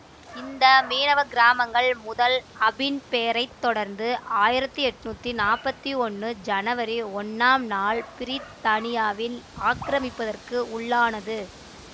இந்த மீனவ கிராமங்கள் முதலாம் அபின் போரை தொடர்ந்து ஆயிரத்தி எட்ணூத்தி நாப்பத்தி ஒன்னு சனவரி ஒன்னாம் நாள் பிரித்தானியாவின் ஆக்கிரமிப்பிற்கு உள்ளானது